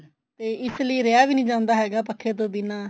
ਤੇ ਇਸਲਈ ਰਿਹਾ ਵੀ ਨੀ ਜਾਂਦਾ ਹੈਗਾ ਪੱਖੇ ਤੋਂ ਬਿਨਾ